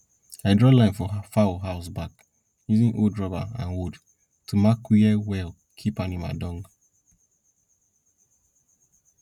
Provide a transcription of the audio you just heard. i draw line for fowl house back using old rubber and wood to mark where well keep animal dung